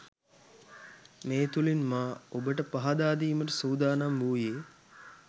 මේ තුළින් මා ඔබට පහදාදීමට සූදානම් වූයේ